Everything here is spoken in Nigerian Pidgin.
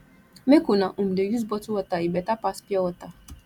make una um dey use bottle water e beta pass pure water